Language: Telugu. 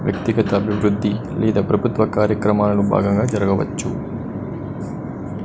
వ్యక్తిగత అభివృద్ధి లేదా ప్రభుత్వ కార్యక్రమాలను భాగంగా జరగవచ్చు.